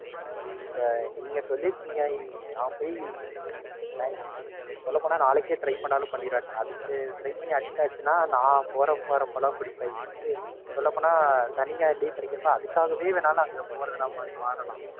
இப்ப நீங்க சொல்லிருக்கீங்க நான் போய் Maximum சொல்லப்போனா நாளைக்கே Try பண்ணாலும் பண்ணிருவேன். அதுக்கு Try பண்ணி Addict ஆயிருச்சுனா நான் போறப்ப வாரப்பலாம் குடிப்பேன். இதுக்கே சொல்லப்போனா சனி, ஞாயிறு Leave கிடைக்குறப்ப அதுக்காகவே வேணுன்னா நான் அங்க போறதெல்லாம் மாதிரி மாறலாம்.